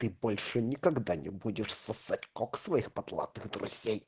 больше никогда не будешь сосать кокс своих потлатых друзей